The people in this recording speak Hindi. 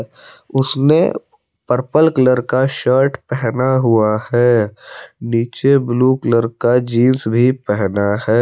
उसने पर्पल कलर का शर्ट पहना हुआ है नीचे ब्लू कलर का जींस भी पहना है।